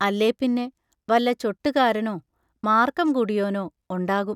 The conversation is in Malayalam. അല്ലേപ്പിന്നെ വല്ല ചൊട്ടു കാരനോ, മാർക്കം കൂടിയോനോ ഒണ്ടാകും.